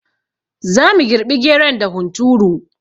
Zamu girɓi geron da hunturu